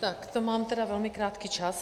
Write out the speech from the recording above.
Tak to mám tedy velmi krátký čas.